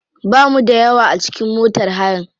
Bamu da yawa a cikin motar hayan.